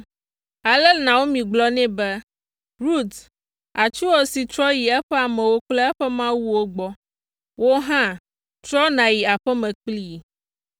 Ale Naomi gblɔ nɛ be, “Rut, atsuwòsi trɔ yi eƒe amewo kple eƒe mawuwo gbɔ; wò hã, trɔ nàyi aƒe me kplii.”